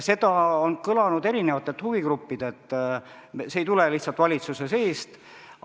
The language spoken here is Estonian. See on kõlanud eri huvigruppidelt, see ei tule lihtsalt valitsuse seest.